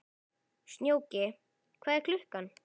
Snjóki, hvað er klukkan?